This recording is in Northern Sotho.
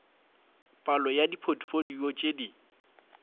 palo ya dipotfolio tše di